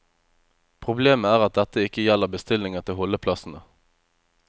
Problemet er at dette ikke gjelder bestillinger til holdeplassene.